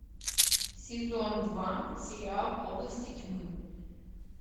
сезон два сериал области тьмы